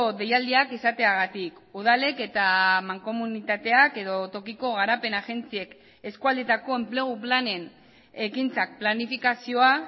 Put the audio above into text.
deialdiak izateagatik udalek eta mankomunitateak edo tokiko garapen agentziek eskualdetako enplegu planen ekintzak planifikazioa